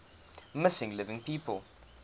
missing living people